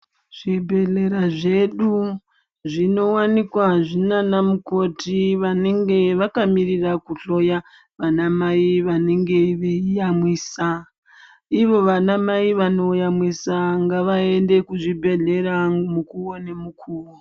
Zvibhedhlera zvedu zvinowanikwa zviina aamukoti vanenge vakamirira ana maiyi vano yamwisa ivo vana mai vanoyamwisa ngavaende kuzvibhehlera mukuwo nemukuwo.